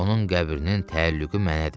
Onun qəbrinin təəllüqü mənədir.